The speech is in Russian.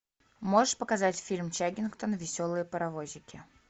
можешь показать фильм чаггингтон веселые паровозики